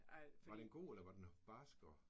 Var den god eller var den barsk og?